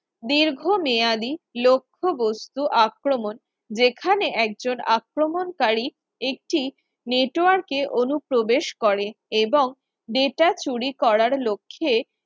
দীর্ঘ মেয়াদী লক্ষ্যবস্তু আক্রমণ সেখানে একজন আক্রমণকারী একটি Network এ অনুপ্রবেশ করে এবং data চুরি করার লক্ষ্যে